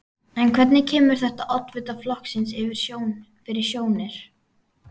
En hvernig kemur þetta oddvita flokksins fyrir sjónir?